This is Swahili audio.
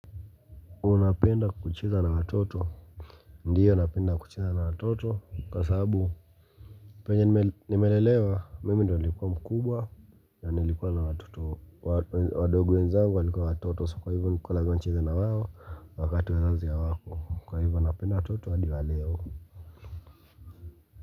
Unapenda kucheza na watoto? Ndiyo napenda kucheza na watoto kwa sababu penye nimelelewa mimi ndiyo nilikuwa mkubwa ya nilikuwa na watoto wadogo wenzangu walikuwa watoto so kwa hivyo nilikuwa naambiwa nicheze nawao. Wakati wazazi hawapo kwa hivyo napenda watoto hadi waleo.